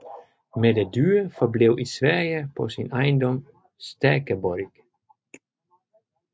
Mette Dyre forblev i Sverige på sin ejendom Stäkeborg